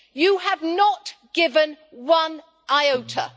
You have not given one iota.